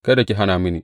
Kada ki hana mini.